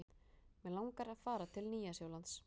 Mig langar að fara til Nýja-Sjálands.